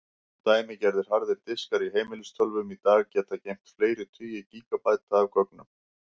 Dæmigerðir harðir diskar í heimilistölvum í dag geta geymt fleiri tugi gígabæta af gögnum.